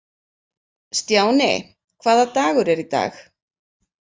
Stjáni, hvaða dagur er í dag?